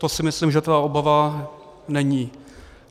To si myslím, že ta obava není.